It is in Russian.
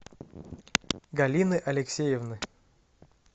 галины алексеевны